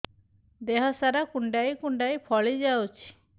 ଦେହ ସାରା କୁଣ୍ଡାଇ କୁଣ୍ଡାଇ ଫଳି ଯାଉଛି